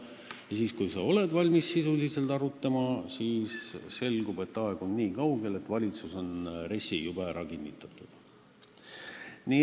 Ja siis, kui sa oled valmis sisuliselt arutama, selgub, et aeg on niikaugel, et valitsus on RES-i juba ära kinnitanud.